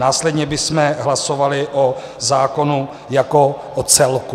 Následně bychom hlasovali o zákonu jako o celku.